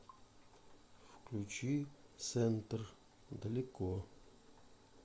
включи центр далеко